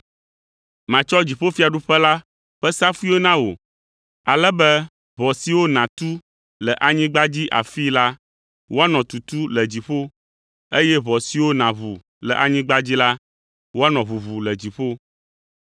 Matsɔ dziƒofiaɖuƒe la ƒe safuiwo na wò, ale be ʋɔ siwo nàtu le anyigba dzi afii la, woanɔ tutu le dziƒo, eye ʋɔ siwo nàʋu le anyigba dzi la, woanɔ ʋuʋu le dziƒo.”